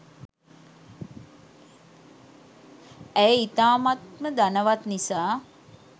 ඇය ඉතාමත්ම ධනවත් නිසා